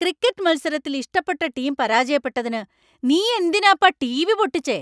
Cricket മത്സരത്തിൽ ഇഷ്ടപ്പെട്ട team പരാജയപ്പെട്ടതിന് നീയെന്തിനാപ്പാ ടിവി പൊട്ടിച്ചേ?